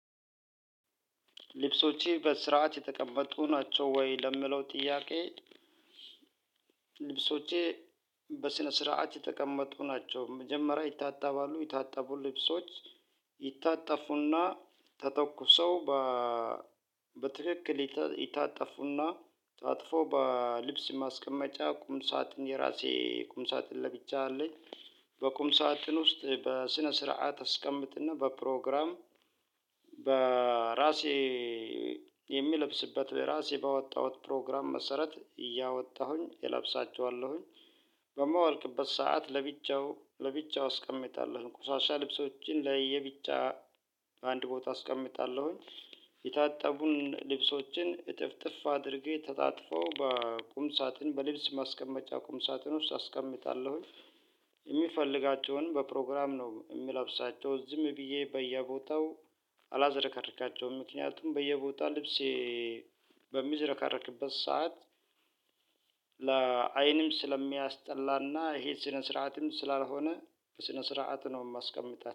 ልብሶቼ በስርዓት የተቀመጡ ናቸው ወይ ለምለው ጥያቄ? ልብሶቼ በስነ ስርዓት የተቀመጡ ናቸው መጀመሪያ ይታጠባሉ የታጠቡ ልብሶች ይታጠፉና ተተኩሰው በ በትክክል ይታጠፉና ታጥፎ በልብስ ማስቀመጫ ቁም ሳጥን የራሴ ቁምሳጥን ለብቻ አለኝ። በቁም ሳጥን ውስጥ በስነ ስርዓት አስቀምጥና በፕሮግራም በራሴ የሚለብስበት እራሴ ባወጣሁት ፕሮግራም መሰረት እያወጣሁኝ እለብሳቸዋለሁኝ። በማወልቅበት ሰዓት ለብቻው ለብቻው አስቀምጣለሁኝ ቁሻሻ ልብሶችን ለየብቻ አንድ ቦታ አስቀምጣለሁኝ። የታጠቡን ልብሶችን እጥፍጥፍ አድርጌ ተጣጥፎ በቁም ሳጥን በልብስ ማስቀመጫ ቁም ሳጥን ውስጥ አስቀምጣለሁኝ። የሚፈልጋቸውን በፕሮግራም ነው የሚለብሳቸው ዝም ብዬ በየቦታው አላዘረከርካቸውም ምክንያቱም በየቦታው ልብሴ በሚዘረከርክበት ሰዓት ለአይንም ስለሚያስጠላና ይሄ ስነ ስርዓትም ስላልሆነ በስነ ስርዓት ነው የማስቀምጣት